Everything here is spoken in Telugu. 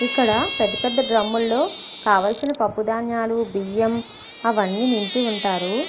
ఇక్కడ పెద్ద పెద్ద డ్రమ్ లో కావలసిన పప్పుధాన్యాలు బియ్యం అవన్ని నింపి వుంటారు.